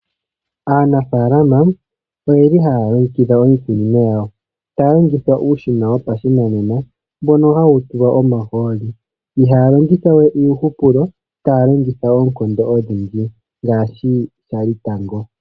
Aanafalama oyeli halongekidha iikunino yawo talongitha uushina wopashinanena mbono hawutulwa omaholi ihalongithawe iihupulo talongitha okondo odhindji ngashi shali tango.